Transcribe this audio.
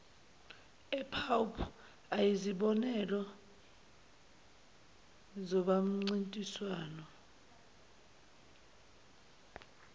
epwp ayizibonelo zobamniswano